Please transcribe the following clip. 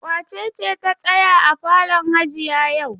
Wace ce ta tsaya a falon hajiya yau?